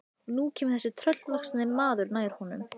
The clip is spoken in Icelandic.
Og nú kemur þessi tröllvaxni maður nær honum.